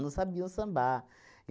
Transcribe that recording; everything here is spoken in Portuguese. Não sabiam sambar.